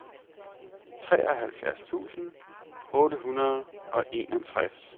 treoghalvfjerds tusind otte hundrede og enogtres